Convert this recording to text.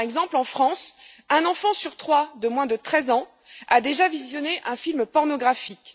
Par exemple, en France, un enfant sur trois de moins de 13 ans a déjà visionné un film pornographique.